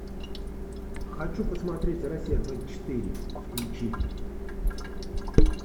хочу посмотреть россия двадцать четыре включи